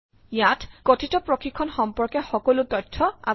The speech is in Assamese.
ইয়াত কথিত প্ৰশিক্ষণ সম্পৰ্কে সকলো তথ্য আছে